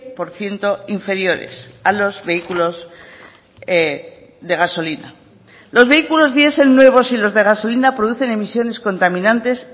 por ciento inferiores a los vehículos de gasolina los vehículos diesel nuevos y los de gasolina producen emisiones contaminantes